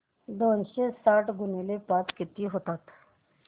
दोनशे साठ गुणिले पाच किती होतात